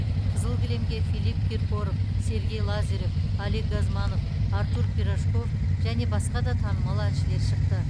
қызыл кілемге филипп киркоров сергей лазарев олег газманов артур пирожков және басқа да танымал әншілер шықты